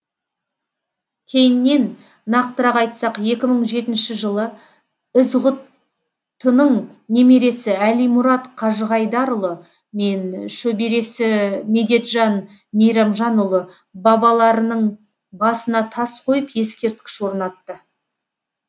кейіннен нақтырақ айтсақ екі мың жетінші жылы ізғұттының немересі әлимұрат қажығайдарұлы мен шөбересі медетжан мейрамжанұлы бабаларының басына тас қойып ексерткіш орнатты